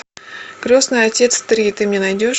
крестный отец три ты мне найдешь